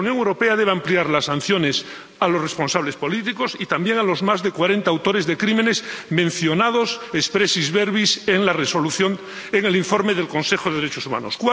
La Unión Europea debe ampliar las sanciones a los responsables políticos y también a los más de cuarenta autores de crímenes mencionados expressis verbis en la Resolución, en el informe del Consejo de Derechos Humanos.